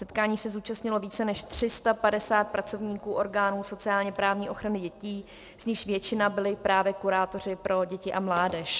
Setkání se zúčastnilo více než 350 pracovníků orgánů sociálně-právní ochrany dětí, z nichž většina byli právě kurátoři pro děti a mládež.